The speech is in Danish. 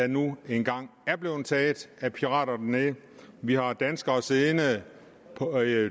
nu engang er blevet taget af pirater dernede vi har danskere siddende